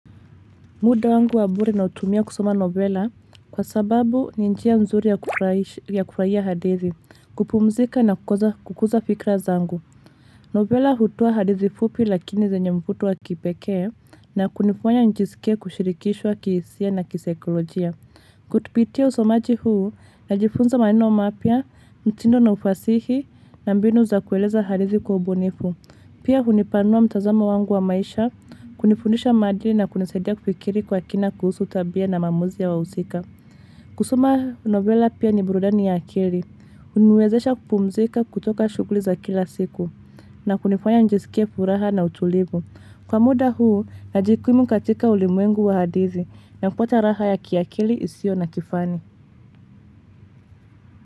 Muda wangu wa bure nautumia kusoma novela kwa sababu ni njia mzuri ya kufraia hadithi, kupumzika na kukuza fikra zangu. Novela hutoa hadithi fupi lakini zenye mvuto wa kipekee na kunifanya nijiskie kushirikishwa kihisia na kisaikolojia. Kupitia usomaji huu najifunza maneno mapya, mtindo na ufasihi na mbinu za kueleza hadithi kwa ubunifu. Pia hunipanua mtazamo wangu wa maisha, kunifundisha maadili na kunisaidia kufikiri kwa kina kuhusu tabia na maamuzi ya wahusika. Kusoma novela pia ni burudani ya akili. Huniwezesha kupumzika kutoka shughuli za kila siku na kunifanya nijisikie furaha na utulivu. Kwa muda huu, najikimu katika ulimwengu wa hadithi na kuacha raha ya kiakili isiyo na kifani.